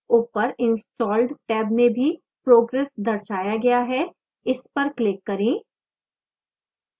ऊपर installed tab में भी progress दर्शाया गया है इस पर क्लिक करें